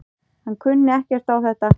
Hann kunni ekkert á þetta.